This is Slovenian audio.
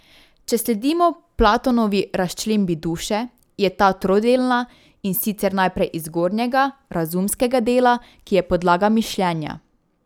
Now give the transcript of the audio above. Če sledimo Platonovi razčlembi duše, je ta trodelna, in sicer najprej iz zgornjega, razumskega dela, ki je podlaga mišljenja.